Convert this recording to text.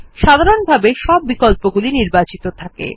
সাধারনভাবে সব বিকল্প গুলি নির্বাচিত থাকে